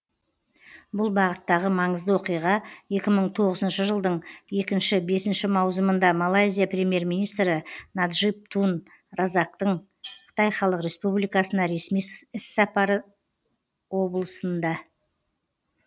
бұл бағыттағы маңызды оқиға екі мың тоғызыншы жылдың екінші бесінші маусымында малайзия премьер министрі наджиб тун разактың қытай халық республикасына ресми іссапары облысында